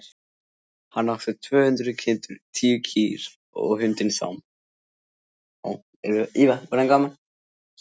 Hann átti tvö hundruð kindur, tíu kýr og hundinn Sám.